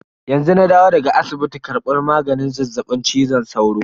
Yanzu na dawo daga asibiti karban maganin zazzaɓin cizon sauro.